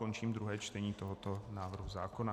Končím druhé čtení tohoto návrhu zákona.